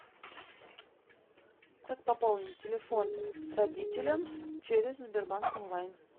как пополнить телефон родителям через сбербанк онлайн